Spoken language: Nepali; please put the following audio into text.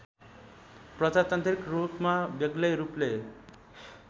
प्रजातान्त्रिक रूपमा बेग्लैरूपले